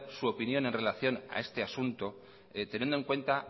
su opinión en relación a este asunto teniendo en cuenta